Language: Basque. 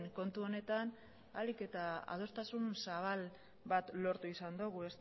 kontu honetan ahalik eta adostasun zabal bat lortu izan dugu